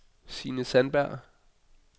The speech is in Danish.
Signe Sandberg